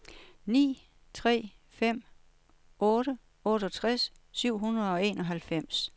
ni tre fem otte otteogtres syv hundrede og enoghalvfems